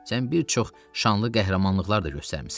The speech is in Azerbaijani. Sən bir çox şanlı qəhrəmanlıqlar da göstərmisən.